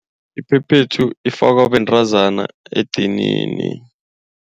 Iphephethu ifakwa bentazana edinini.